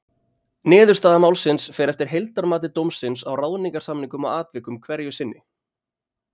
Niðurstaða málsins fer eftir heildarmati dómsins á ráðningarsamningnum og atvikum hverju sinni.